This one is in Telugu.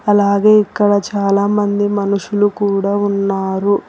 అలాగే ఇక్కడ చాలామంది మనుషులు కూడా ఉన్నారు.